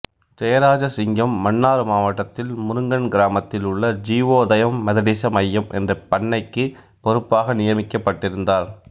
ஜெயராஜசிங்கம் மன்னார் மாவட்டத்தில் முருங்கன் கிராமத்தில் உள்ள ஜீவோதயம் மெதடிச மையம் என்ற பண்ணைக்குப் பொறுப்பாக நியமிக்கப்பட்டிருந்தார்